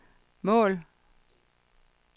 mål